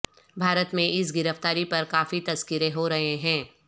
بھارت میں اس گرفتاری پر کافی تذکرے ہورہے ہیں